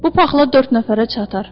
Bu paxla dörd nəfərə çatar.